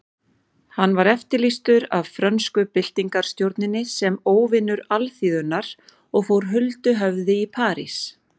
Hann var eftirlýstur af frönsku byltingarstjórninni sem óvinur alþýðunnar og fór huldu höfði í París.